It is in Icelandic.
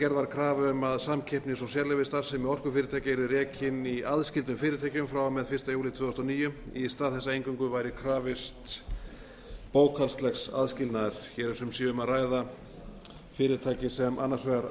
gerð var krafa um að samkeppnis og sérleyfisstarfsemi orkufyrirtækja yrði rekin í aðskildum fyrirtækjum frá og með fyrsta júlí tvö þúsund og níu í stað þess að eingöngu væri krafist bókhaldslegs aðskilnaðar hér er um að ræða fyrirtæki sem annars vegar